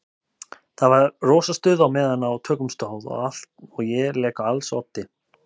Það var rosa stuð á meðan á tökum stóð og ég lék á als oddi.